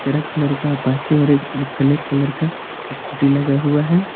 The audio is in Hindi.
चरक कलर का अपाचे और ब्लैक कलर का स्कूटी लगा हुआ है।